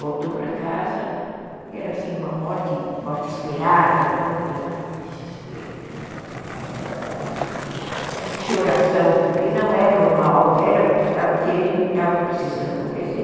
Voltou para casa e era assim, uma morte esperada, então não tem nada de desespero, não tem nada de gritaria, não tem nada de choração, porque não é normal, era o que estava querendo e estava precisando acontecer.